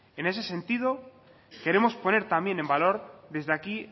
en ese sentido queremos poner también en valor desde aquí